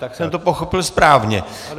Tak jsem to pochopil správně.